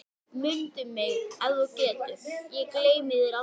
Mundu mig ef þú getur, ég gleymi þér aldrei